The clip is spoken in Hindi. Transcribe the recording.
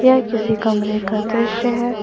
यह किसी कमरे का दृश्य है।